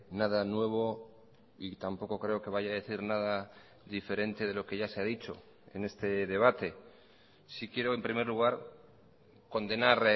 nada nuevo y tampoco creo que vaya a decir nada diferente de lo que ya se ha dicho en este debate sí quiero en primer lugar condenar